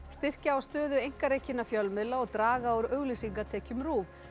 styrkja á stöðu einkarekinna fjölmiðla og draga úr auglýsingatekjum RÚV